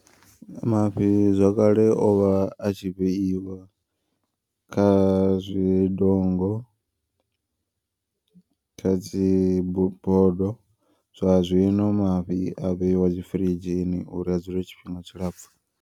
Mafhi zwakale ovha a tshi vheiwa kha zwidongo. Kha dzi bodo zwa zwino mafhi a vheiwa dzi firidzhini uri a dzule tshifhinga tshilapfhu.